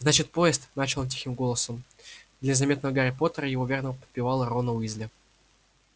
значит поезд начал он тихим голосом для заметного гарри поттера и его верного подпевалы рона уизли